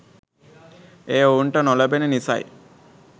එය ඔවුන්ට නොලැබෙන නිසයි